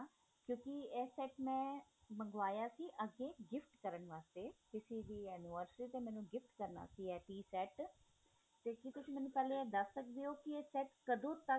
ਕਿਉ ਨਕੀ ਇਹ set ਮੈਂ ਮੰਗਵਾਇਆ ਸੀ ਅੱਗੇ gift ਕਰਨ ਵਾਸਤੇ ਕਿਸੀ ਦੀ anniversary ਤੇ ਮੈਨੂੰ gift ਕਰਨਾ ਸੀ ਇਹ piece set ਕੀ ਤੁਸੀਂ ਪਹਿਲੇ ਮੈਨੂੰ ਦੱਸ ਸਕਦੇ ਹੋ ਕੀ ਇਹ set ਕਦੋਂ ਤੱਕ